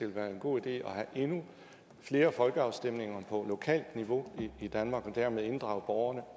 være en god idé at have endnu flere folkeafstemninger på lokalt niveau i danmark og dermed inddrage borgerne